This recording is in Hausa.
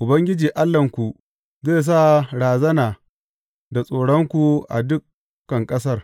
Ubangiji Allahnku, zai sa razana da tsoronku a dukan ƙasar,